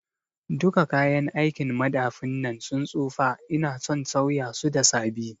Duka kayan aikin madafin nan ya tsufa ina son sauya su da sabi